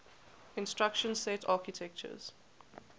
instruction set architectures